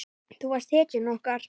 Þú varst hetjan okkar.